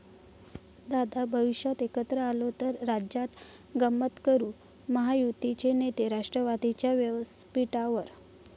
...दादा भविष्यात एकत्र आलो तर राज्यात गंमत करू, महायुतीचे नेते राष्ट्रवादीच्या व्यासपीठावर